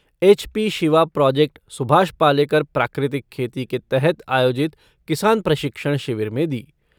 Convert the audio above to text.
HP Shiva project Subhash Palekar प्राकृतिक खेती के तहत आयोजित किसान प्रशिक्षण शिविर में दी।